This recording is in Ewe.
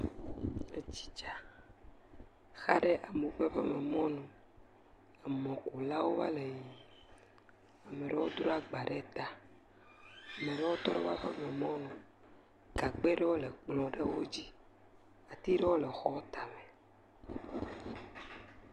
Etsi dza xa ɖe amewo ƒe xɔme mɔnu, emɔkulawo va le yiyyim, ame ɖewo dro agba ɖe ta, ame ɖewo tɔ ɖe woƒe aƒememɔnu, gagba aɖewo le kplɔ ɖewo dzi, ati ɖewo le xɔ ta me.